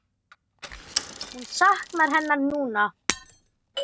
Hún saknar hennar núna.